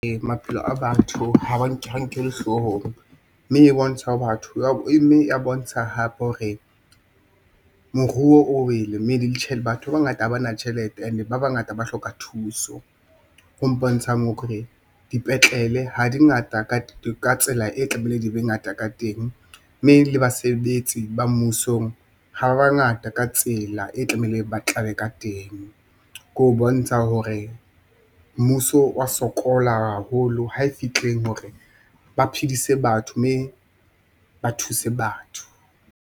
Ee, maphelo a batho ha nkellwe hloohong mme e bontsha batho hape hore moruo o wele mme le batho ba bangata ha bana tjhelete and-e ba bangata ba hloka thuso, ho mpontshang hore dipetlele ha di ngata ka tsela e tlamehile di be ngata ka teng, mme le basebetsi ba mmusong ha ba ba ngata ka tsela e tlamehileng ba tlale ka teng. Ke ho bontsha hore mmuso wa sokola haholo ha e fitlheng hore ba phedise batho mme ba thuse batho.